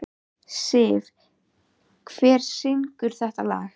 Telma Tómasson: Kristján, hvernig miðar björgunaraðgerðum núna?